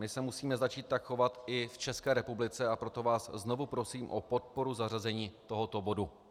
My se musíme začít tak chovat i v České republice, a proto vás znovu prosím o podporu zařazení tohoto bodu.